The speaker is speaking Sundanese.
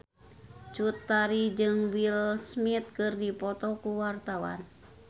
Cut Tari jeung Will Smith keur dipoto ku wartawan